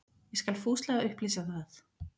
Ég skal fúslega upplýsa það.